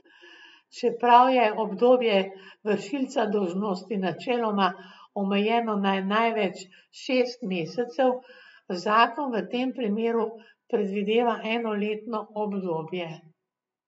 Čeprav je obdobje vršilca dolžnosti načeloma omejeno na največ šest mesecev, zakon v tem primeru predvideva enoletno obdobje.